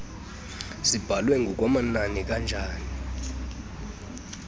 zibhalwe ngokwamananini kanjani